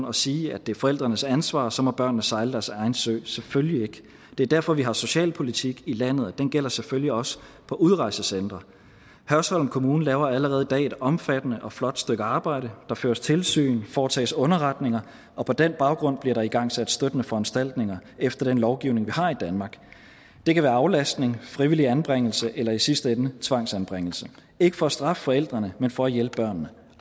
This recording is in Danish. og sige at det er forældrenes ansvar og så må børnene sejle deres egen sø selvfølgelig det er derfor vi har socialpolitik i landet og den gælder selvfølgelig også på udrejsecentre hørsholm kommune laver allerede i dag et omfattende og flot stykke arbejde der føres tilsyn foretages underretninger og på den baggrund bliver der igangsat støttende foranstaltninger efter den lovgivning vi har i danmark det kan være aflastning frivillig anbringelse eller i sidste ende tvangsanbringelse ikke for at straffe forældrene men for at hjælpe børnene